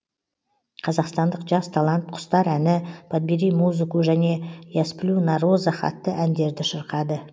қазақстандық жас талант құстар әні подбери музыку және я сплю на розах атты әндерді шырқады